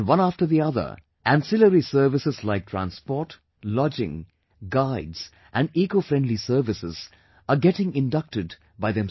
And one after the other, ancillary services like transport, lodging, guides and ecofriendly services are getting inducted by themselves